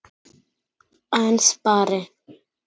En spari?